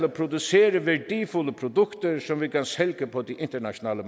at producere værdifulde produkter som vi kan sælge på det internationale